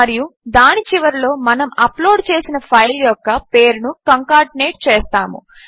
మరియు దాని చివరిలో మనము అప్లోడ్ చేసిన ఫైల్ యొక్క పేరును కంకాటినేట్ చేస్తాము